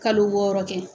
Kalo wɔɔrɔ kɛ